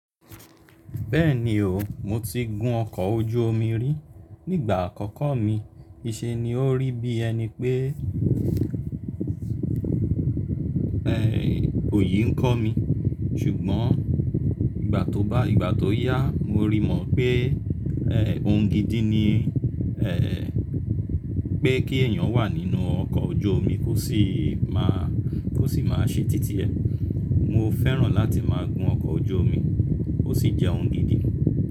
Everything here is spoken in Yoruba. Bẹ́ẹ̀ni o, mo ti gun ọkọ̀ ojú omi rí. Nígbà àkọ́kọ́ mi, kii ṣe ni o rí bí ẹni pé, ẹ́, òyì ń kọ́ mi. Ṣùgbọ́n ìgbà tó bá ìgbà tó yá, mo rí i mọ̀ pé, ẹ́, ohun gidi ni, ẹ́ẹ́, pé kí èyàn wà nínú ọkọ̀ ojú omi kó sì máa, kó sì máa ṣe títí ẹ̀. Mo fẹ́ràn láti máa gun ọkọ̀ ojú omi, o sì jẹ́ ohun gidi.